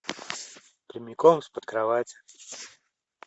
прямиком из под кровати